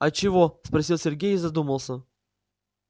а чего спросил сергей и задумался